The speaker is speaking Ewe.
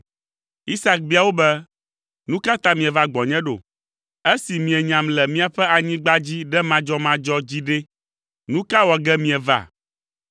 Isak bia wo be, “Nu ka ta mieva gbɔnye ɖo? Esi mienyam le miaƒe anyigba dzi ɖe madzɔmadzɔ dzi ɖe, nu ka wɔ ge mieva.”